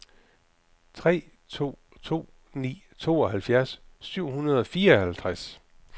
tre to to ni tooghalvfjerds syv hundrede og fireoghalvtreds